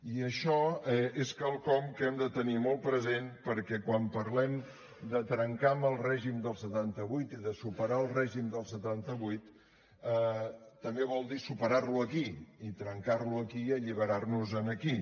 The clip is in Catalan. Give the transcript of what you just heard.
i això és quelcom que hem de tenir molt present perquè quan parlem de trencar amb el règim del setanta vuit i de superar el règim del setanta vuit també vol dir superar lo aquí i trencar lo aquí i alliberar nos en aquí